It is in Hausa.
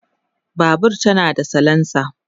Babur tana da salensa